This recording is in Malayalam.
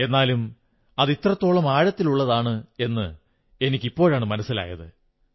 എന്നാലും അതിത്രത്തോളം ആഴത്തിലുള്ളതാണെന്ന് എനിക്കിപ്പോഴാണ് മനസ്സിലായത്